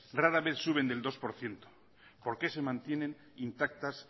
rara vez suben del dos por ciento por qué se mantienen intactas